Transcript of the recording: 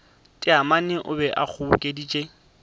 taamane o be a kgobokeditše